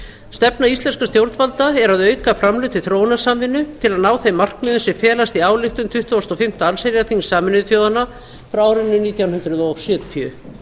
stefna íslenskra stjórnvalda er að auka framlög til þróunarsamvinnu til að ná þeim markmiðum sem felast í ályktun tuttugasta og fimmta allsherjarþings sameinuðu þjóðanna frá árinu nítján hundruð sjötíu